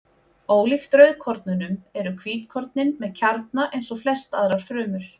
Ólíkt rauðkornunum eru hvítkornin með kjarna eins og flestar aðrar frumur.